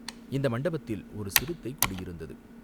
"இந்த மண்டபத்தில் ஒரு சிறுத்தை குடியிருந்தது.